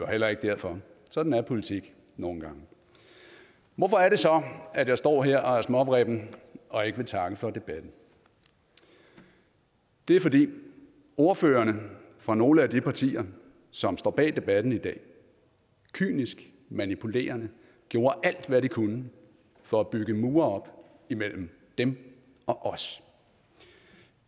heller ikke derfor sådan er politik nogle gange hvorfor er det så at jeg står her og er småvrippen og ikke vil takke for debatten det er fordi ordførerne fra nogle af de partier som står bag debatten i dag kynisk og manipulerende gjorde alt hvad de kunne for at bygge mure op imellem dem og os